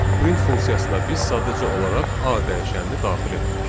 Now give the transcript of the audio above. Print funksiyasına biz sadəcə olaraq A dəyişənini daxil etdik.